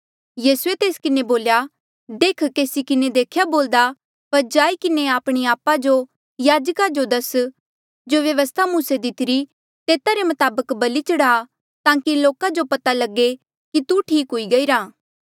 यीसूए तेस किन्हें बोल्या देख केसी किन्हें देख्या बोल्दा पर जाई किन्हें आपणे आपा जो याजका जो दस जो व्यवस्था मूसे दितिरी तेता रे मताबक बलि चढ़ा ताकि लोका जो पता लगे कि तू ठीक हुई गईरा